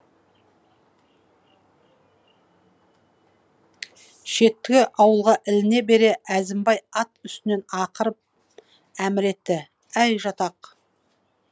шеткі ауылға іліне бере әзімбай ат үстінен ақырып әмір етті әй жатақ